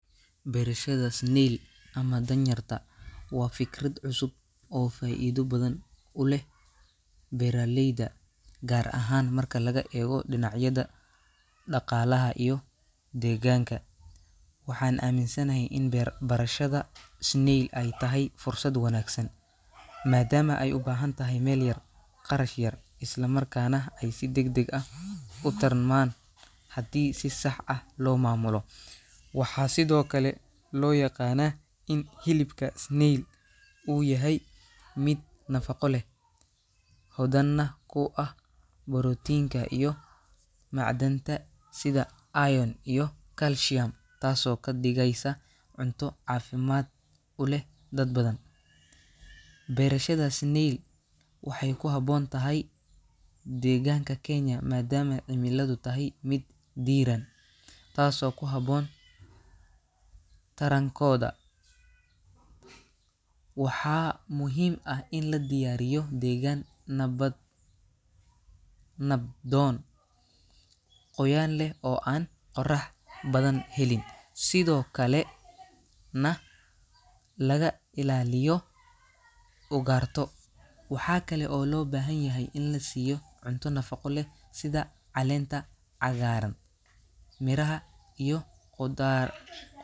Beerashada snail ama danyarta waa fikrad cusub oo faa'iido badan u leh beeraleyda, gaar ahaan marka laga eego dhinacyada dhaqaalaha iyo deegaanka. Waxaan aaminsanahay in beerashada snail ay tahay fursad wanaagsan, maadaama ay u baahan tahay meel yar, kharash yar, isla markaana ay si degdeg ah u tarmaan haddii si sax ah loo maamulo. Waxaa sidoo kale loo yaqaanaa in hilibka snail uu yahay mid nafaqo leh, hodanna ku ah borotiinka iyo macdanta sida iron iyo calcium, taasoo ka dhigaysa cunto caafimaad u leh dad badan. Beerashada snail waxay ku habboon tahay deegaanka Kenya maadaama cimiladu tahay mid diiran, taasoo ku habboon tarankooda. Waxaa muhiim ah in la diyaariyo deegaan nabad nabdoon, qoyaan leh oo aan qorrax badan helin, sidoo kale na laga ilaaliyo ugaarto. Waxaa kale oo loo baahan yahay in la siiyo cunto nafaqo leh sida caleenta cagaaran, miraha iyo khudaar.